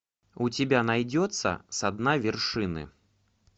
у тебя найдется со дна вершины